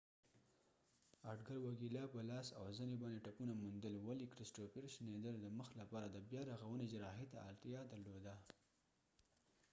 اډګر وګیلا په لاس او زنی باندی ټپونه موندل ولی کریسټوفر شنیدر د مخ لپاره د بیا رغونی جراحي ته اړتیا درلوده